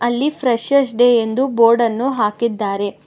ಅಲ್ಲಿ freshers day ಎಂದು board ಅನ್ನು ಹಾಕಿದ್ದಾರೆ.